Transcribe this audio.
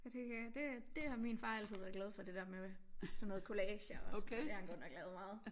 Og det kan jeg det det har min far altid været glad for det der med sådan noget collager og sådan noget det har han godt nok lavet meget